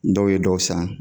Dɔw ye dɔ san